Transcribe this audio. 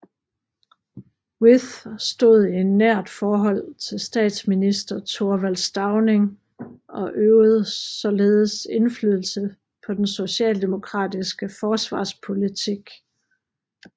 With stod i nært forhold til statsminister Thorvald Stauning og øvede således indflydelse på den socialdemokratiske forsvarspolitik